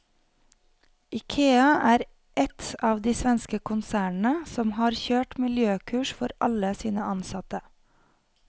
Ikea er ett av de svenske konsernene som har kjørt miljøkurs for alle sine ansatte.